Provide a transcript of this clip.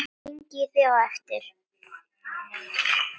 Hringi í þig á eftir.